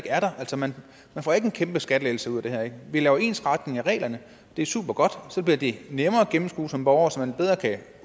er der altså man får ikke en kæmpe skattelettelse ud af det her vi laver en ensretning af reglerne og det er supergodt for så bliver det nemmere at gennemskue som borger så man bedre kan